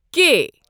کے